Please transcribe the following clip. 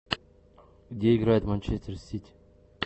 где играет манчестер сити